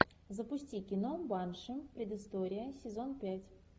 запусти кино банши предыстория сезон пять